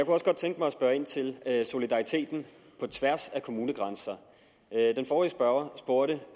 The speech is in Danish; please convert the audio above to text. også godt tænke mig at spørge ind til det her med solidariteten på tværs af kommunegrænser den forrige spørger spurgte